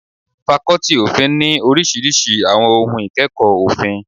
Fakọ́tì òfin ní àwọn oríṣiríṣi àwọn ohun ìkẹ́kọ̀ọ́ òfin.